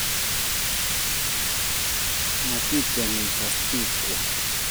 Maticham isas biik kwok.